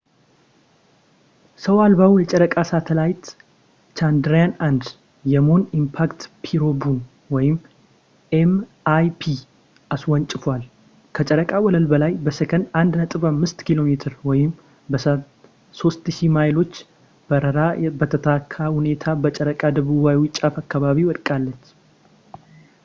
ሰው አልባው የጨረቃ ሳተላይት ቻንድራያን-1 የሙን ኢምፓክት ፕሮቡን ኤም.ኢይ.ፒ አስወንጭፏል፣ ከጨረቃ ወለል በላይ በሴኮንድ 1.5 ኪ.ሜ በሰዓት 3000 ማይሎች በራ በተሳካ ሁኔታ በጨረቃ ደቡባዊ ጫፍ አካባቢ ወድቃለች